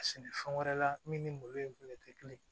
A sɛnɛ fɛn wɛrɛ la min ni malo in fɛnɛ tɛ kelen ye